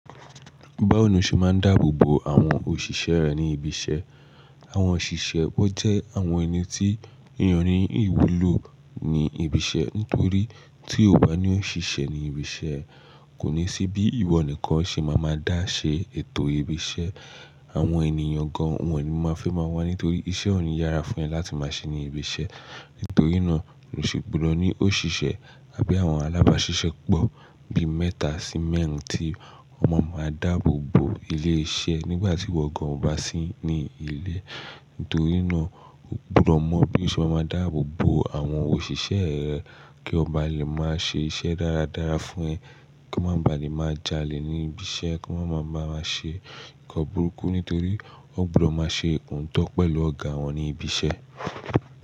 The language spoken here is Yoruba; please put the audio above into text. Báwo ni o ṣe máa ń dáàbò bo àwọn òṣìṣẹ́ rẹ ní ibi iṣẹ́? Àwọn òṣìṣẹ́ wọn jẹ́ àwọn ẹni tí èèyàn ní ìwúlò ní ibi iṣẹ́. Nítorí tí ò bá ní òṣìṣẹ́ ní ibi iṣẹ́, kò ní sí bí ìwọ nìkan ṣe máa ma dà ṣe ètò ibi iṣẹ́. Àwọn ènìyàn gan wọn ni mo máa fẹ́ máa wá nítorí iṣẹ́ ò ní yára fún ẹ láti máa ṣe ní ibi iṣẹ́. Nítorí náà, nio ṣe gbodo ní òṣìṣẹ́ àbí àwọn alábáṣiṣẹ́ pọ̀ bí mẹ́ta sí mẹ́rin tí o ma máa dààbò bo ilé iṣẹ́ nígbà tí ìwọ gan ò bá sí ní ilé. Nítorí náà, o gbọdọ̀ mọ̀ bí o ṣe máa ma dààbò bo àwọn òṣìṣẹ́ rẹ kí wọn bá lè máa ṣe iṣẹ́ dáradára fún ẹ, kí wọ́n bá lè máa jalè ní ibi iṣẹ́, kí wọ́n máa bá ẹ ṣe nǹkan burúkú nítorí ó gbọdọ̀ máa ṣe oóto pẹ̀lú ọ̀gá wọn ní ibi iṣẹ́.